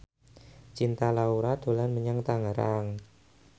Cinta Laura dolan menyang Tangerang